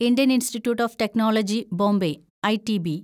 Indian institute of technology Bombay (ITB)